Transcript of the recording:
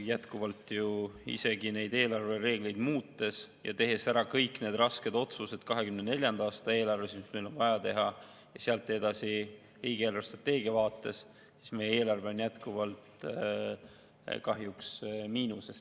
Jätkuvalt ju isegi neid eelarvereegleid muutes ja tehes ära kõik need rasked otsused 2024. aasta eelarves, mis meil on vaja teha, ja sealt edasi riigi eelarvestrateegia vaates on meie eelarve jätkuvalt kahjuks miinuses.